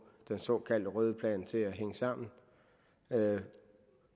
den såkaldte røde plan til at hænge sammen